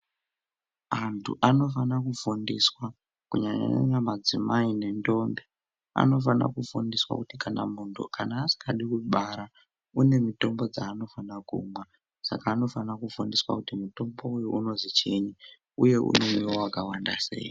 Antu anofana kufundiswa kunyanya nyanya madzimai nendombi anofana kufundiswa kuti kana muntu asingadi kubara unemitombo dzinofana kumwa saka anofana kufundiswa mutombo uyu unozichini uye unomwiwa wakawanda seyi.